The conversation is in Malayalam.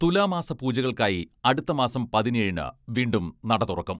തുലാ മാസ പൂജകൾക്കായി അടുത്ത മാസം പതിനേഴിന് വീണ്ടും നട തുറക്കും.